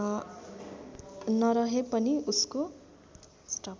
नरहे पनि उसको